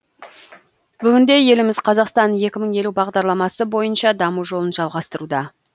бүгінде еліміз қазақстан екі мың елу бағдарламасы бойынша даму жолын жалғастыруда